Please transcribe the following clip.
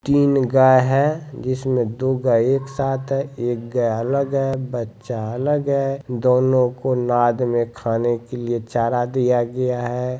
तीन गाय है जिसमें दो गाय एक साथ है एक गाय अलग है बच्चा अलग है दोनों को नाद में खाने के लिये चारा दिया गया है।